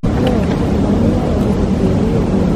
Nũ Kamau nĩaregire kwerĩheria